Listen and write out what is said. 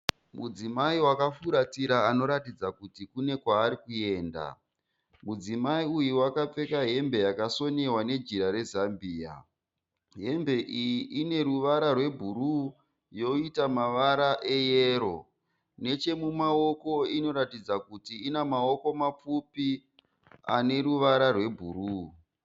Mudzimai wakafuratira anoratidza kuti kune kwaari kuenda. Mudzimai uyu akapfeka hembe yakasonewa nejira rezambia. Hembe iyi ine ruvara rwebhuruu yoita mavara eyero. Nechemumaoko inoratidza kuti ine maoko mapfupi ane ruvara rwebhuruu.